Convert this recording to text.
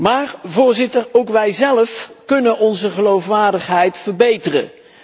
Maar ook wijzelf kunnen onze geloofwaardigheid verbeteren.